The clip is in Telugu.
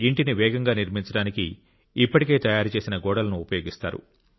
ఇంటిని వేగంగా నిర్మించడానికి ఇప్పటికే తయారుచేసిన గోడలను ఉపయోగిస్తారు